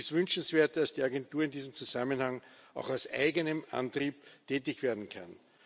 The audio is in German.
Es ist wünschenswert, dass die Agentur in diesem Zusammenhang auch aus eigenem Antrieb tätig werden kann.